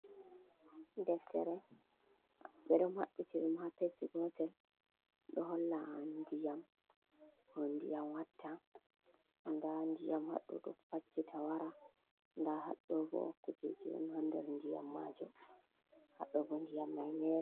Deftere ɓe ɗo maɓɓiti ɗum ha peccu gotel, ɗo holla ndiyam. No ndiyam watta nda ndiyam ha ɗo ɗo faccita wara nda ha ɗo bo kujeji on honder ndiyam maju haɗɗo bo ndiyam mai mere.